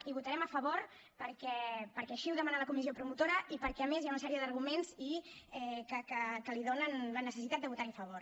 hi votarem a favor perquè així ho demana la comissió promotora i perquè a més hi ha una sèrie d’arguments que li donen la necessitat de votar hi a favor